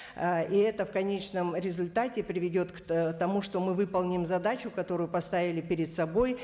ы и это в конечном результате приведет тому что мы выполним задачу которую поставили перед собой